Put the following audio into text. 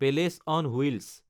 palace on wheels